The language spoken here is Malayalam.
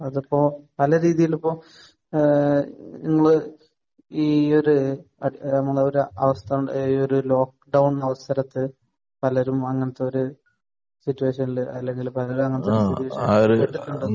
അതിപ്പോൾ പല രീതിയിൽ ഇപ്പോൾ ഏഹ് നിങ്ങൾ ഈ ഒരു നമ്മുടെ ഒരു അവസ്ഥ ഏഹ് ഈ ഒരു ലോക്ക്ഡൗൺ അവസരത്തിൽ പലരും അങ്ങനത്തെയൊരു സിറ്റുവേഷനിൽ അല്ലെങ്കിൽ പലരും അങ്ങനത്തെ സിറ്റുവേഷനിൽ